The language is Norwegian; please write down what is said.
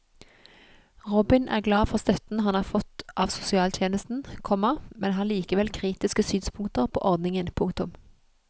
Robin er glad for støtten han har fått av sosialtjenesten, komma men har likevel kritiske synspunkter på ordningen. punktum